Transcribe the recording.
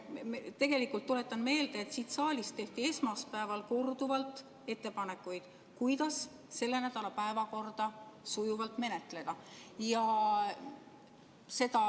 Tuletan meelde, et siit saalist tehti esmaspäeval korduvalt ettepanekuid, kuidas selle nädala päevakorda sujuvalt menetleda.